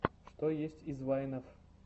что есть из вайнов